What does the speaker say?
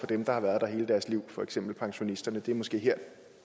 dem der har været der hele deres liv for eksempel pensionisterne det er måske her